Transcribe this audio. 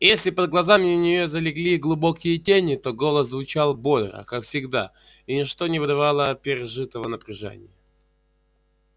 и если под глазами у нее залегли глубокие тени то голос звучал бодро как всегда и ничто не выдавало пережитого напряжения